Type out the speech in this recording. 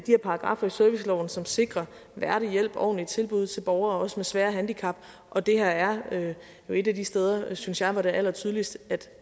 her paragraffer i serviceloven som sikrer værdig hjælp og ordentlige tilbud også til borgere med svære handicap og det her er jo et af de steder synes jeg hvor det er allertydeligst